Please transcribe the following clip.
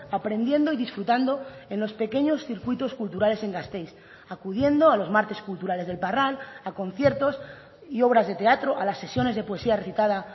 aprendiendo y disfrutando en los pequeños circuitos culturales en gasteiz acudiendo a los martes culturales del parral a conciertos y obras de teatro a las sesiones de poesía recitada